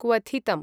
क्वथितम्